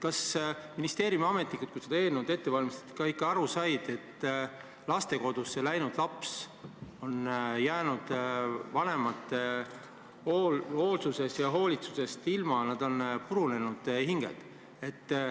Kas ministeeriumi ametnikud, kui seda eelnõu ette valmistasid, ikka said aru, et lastekodusse läinud laps on jäänud vanemate hoolitsusest ilma, ta on purunenud hing?